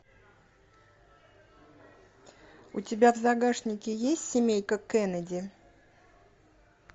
у тебя в загашнике есть семейка кеннеди